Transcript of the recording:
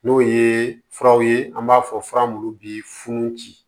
N'o ye furaw ye an b'a fɔ fura munnu bi funu